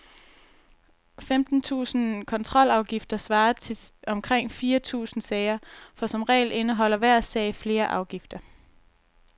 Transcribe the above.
Femten tusinde kontrolafgifter svarer til omkring fire tusinde sager, for som regel indeholder hver sag flere afgifter.